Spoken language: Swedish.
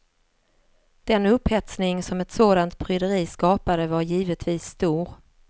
Den upphetsning som ett sådant pryderi skapade var givetvis stor.